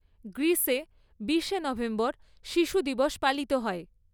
গ্রীসে বিশে নভেম্বর শিশু দিবস পালিত হয়।